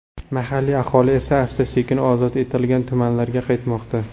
Mahalliy aholi esa asta-sekin ozod etilgan tumanlarga qaytmoqda.